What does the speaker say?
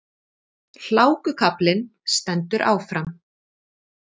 Hlákukaflinn stendur áfram